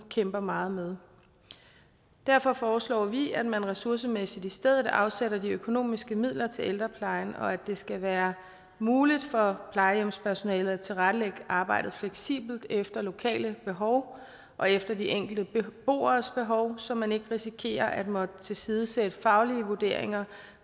kæmper meget med derfor foreslår vi at man ressourcemæssigt i stedet afsætter de økonomiske midler til ældreplejen og at det skal være muligt for plejehjemspersonalet at tilrettelægge arbejdet fleksibelt efter lokale behov og efter de enkelte beboeres behov så man ikke risikerer at måtte tilsidesætte faglige vurderinger